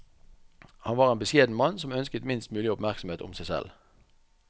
Han var en beskjeden mann som ønsket minst mulig oppmerksomhet om seg selv.